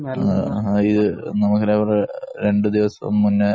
രണ്ടു ദിവസം മുന്നേ